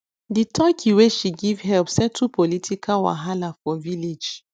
the turkey wey she give help settle political wahala for village